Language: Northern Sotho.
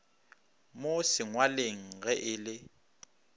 mo sengwalweng ge e le